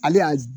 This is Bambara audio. Ale y'a